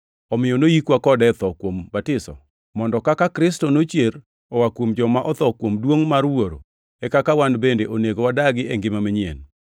Omiyo noyikwa kode e tho kuom batiso, mondo kaka Kristo nochier oa kuom joma otho kuom duongʼ mar Wuoro, e kaka wan bende onego wadagi e ngima manyien.